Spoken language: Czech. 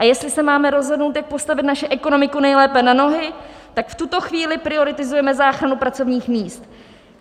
A jestli se máme rozhodnout, jak postavit naši ekonomiku nejlépe na nohy, tak v tuto chvíli prioritizujeme záchranu pracovních míst.